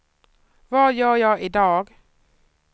vad gör jag idag